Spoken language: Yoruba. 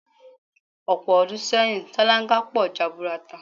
Ò̩pò̩ o̩dún sé̩yìn, sáláńgá po̩ jaburata.